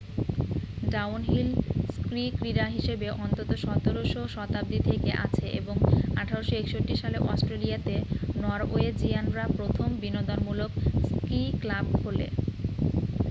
downhill ski ক্রীড়া হিসাবে অন্তত 17শ শতাব্দী থেকে আছে এবং 1861 সালে অস্ট্রেলিয়া তে নরওয়েজীয়ানরা প্রথম বিনোদনমূলক স্কি ক্লাব খোলে